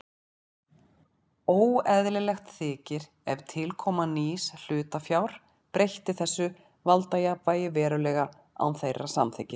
Óeðlilegt þykir ef tilkoma nýs hlutafjár breytti þessu valdajafnvægi verulega án þeirra samþykkis.